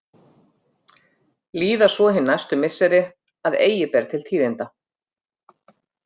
Líða svo hin næstu misseri að eigi ber til tíðinda.